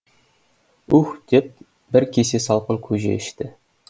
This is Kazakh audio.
уһ деп бір кесе салқын көже ішті